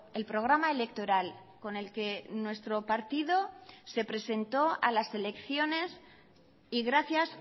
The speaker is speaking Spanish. el programa electoral con el que nuestro partido se presentó a las elecciones y gracias